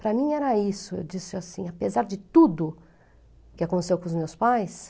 Para mim era isso, eu disse assim, apesar de tudo que aconteceu com os meus pais,